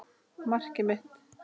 Markið mitt?